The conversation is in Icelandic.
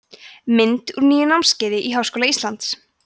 mynd úr nýju námskeiði í háskóla íslands